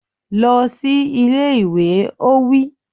Lọ sí ilé ìwé! Ó wí.